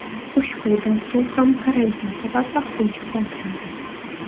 Ushbu dastur ham karantin sabab vaqtincha qoldirildi.